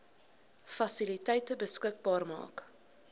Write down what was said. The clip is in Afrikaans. fasiliteite beskikbaar maak